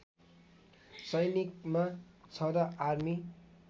सैनिकमा छँदा आर्मी